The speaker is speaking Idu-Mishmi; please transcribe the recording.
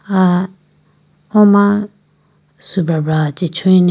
ah o ma sujabra chee chuyi ne.